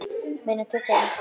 Meira en tuttugu árum síðar.